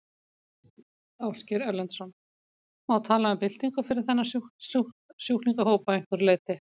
Ásgeir Erlendsson: Má tala um byltingu fyrir þennan sjúklingahóp að einhverju leyti?